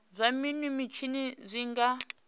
zwa minwe mitshini zwi nga